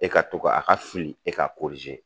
E ka to ka a ka fili e k'a korize